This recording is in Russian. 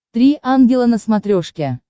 три ангела на смотрешке